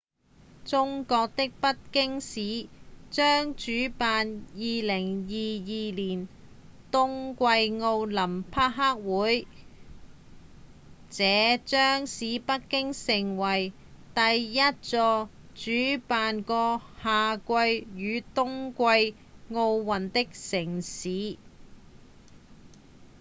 中國的北京市將主辦2022年的冬季奧林匹克運動會這將使北京成為第一座主辦過夏季與冬季奧運的城市